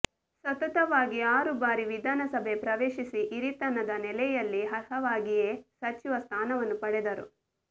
ಸತತವಾಗಿ ಆರು ಬಾರಿ ವಿಧಾನಸಭೆ ಪ್ರವೇಶಿಸಿ ಹಿರಿತನದ ನೆಲೆಯಲ್ಲಿ ಅರ್ಹವಾಗಿಯೇ ಸಚಿವ ಸ್ಥಾನವನ್ನು ಪಡೆದರು